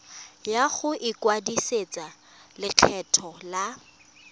ya go ikwadisetsa lekgetho la